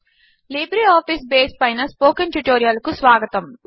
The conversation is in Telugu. లిబ్రేఆఫీస్ బేస్ పైన స్పోకెన్ ట్యుటోరియల్ కు స్వాగతము